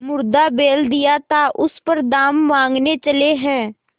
मुर्दा बैल दिया था उस पर दाम माँगने चले हैं